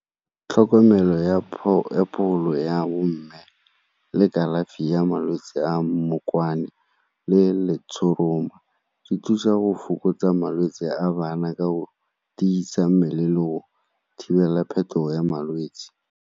Tlhokomelo ya pholo ya bo mme le kalafi ya malwetse a mmokwane le letshoroma di thusa go fokotsa malwetse a bana ka o tiisa mmele le go thibela phetogo ya malwetse.